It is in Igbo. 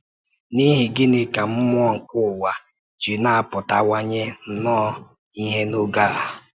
N’ihi gịnị ka “mmụọ nke ụwa” ji na-apụtawanye nnọọ ìhè n’oge a?